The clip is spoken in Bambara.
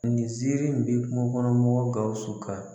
Nin ziiri in bi kungo kɔnɔ mɔgɔw Gawusu kan.